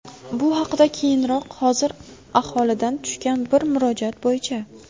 Bu haqda keyinroq, hozir aholidan tushgan bir murojaat bo‘yicha.